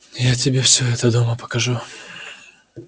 я тебе всё это дома покажу